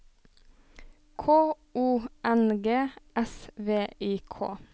K O N G S V I K